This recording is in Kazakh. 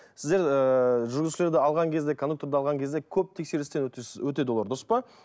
сіздер ыыы жүргізушілерді алған кезде кондукторды алған кезде көп тексерістен өтеді олар дұры па